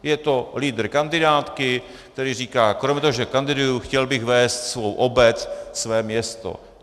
Je to lídr kandidátky, který říká: Kromě toho, že kandiduji, chtěl bych vést svou obec, své město.